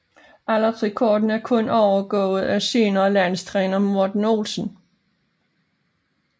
Aldersrekorden er kun overgået af senere landstræner Morten Olsen